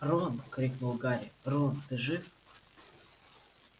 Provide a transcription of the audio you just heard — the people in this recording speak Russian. рон крикнул гарри рон ты жив